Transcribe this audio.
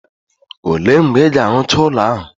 O le mgbe Ị ga-arụcha ụlọ ahụ?